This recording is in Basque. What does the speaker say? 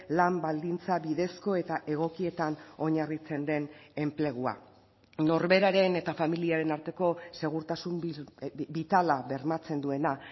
lan baldintza bidezko eta egokietan oinarritzen den enplegua norberaren eta familiaren arteko segurtasun bitala bermatzen duena